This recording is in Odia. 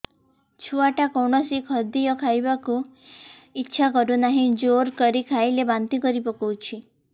ଛୁଆ ଟା କୌଣସି ଖଦୀୟ ଖାଇବାକୁ ଈଛା କରୁନାହିଁ ଜୋର କରି ଖାଇଲା ବାନ୍ତି କରି ପକଉଛି